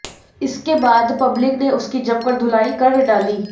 इसके बाद पब्लिक ने उसकी जमकर धुनाई कर डाली